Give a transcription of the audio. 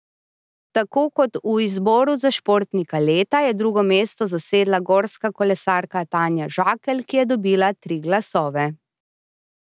Tako kot v izboru za športnika leta je drugo mesto zasedla gorska kolesarka Tanja Žakelj, ki je dobila tri glasove.